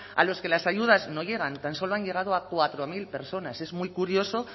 a los que las ayudas no llegan tan solo han llegado a cuatro mil personas es muy curioso